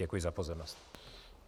Děkuji za pozornost.